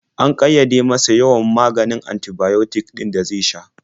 An ƙayyade masa yawan maganin antibiotic ɗin da zai sha.